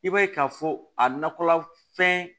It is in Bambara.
I b'a ye k'a fɔ a nakɔla fɛn